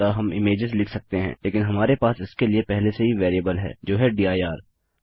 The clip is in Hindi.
अतः हम इमेजेस लिख सकते हैं लेकिन हमारे पास इसके लिए पहले से ही वेरिएबल है जो है दिर